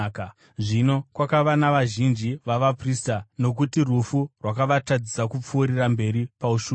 Zvino kwakava navazhinji vavaprista, nokuti rufu rwakavatadzisa kupfuurira mberi paushumiri;